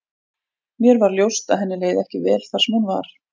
Mér varð ljóst að henni leið ekki vel þar sem hún var.